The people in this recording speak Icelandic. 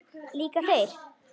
Líka þeir?